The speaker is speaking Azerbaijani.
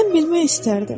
Mən bilmək istərdim.